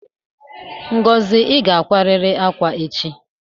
Ngozi, I ga ákwárịrị ákwá echi!